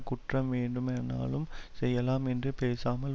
குற்றம் வேண்டுமானாலும் செய்யலாம் என்றும் பேசாமல்